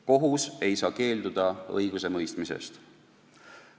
Kohus ei saa keelduda õigusemõistmisest.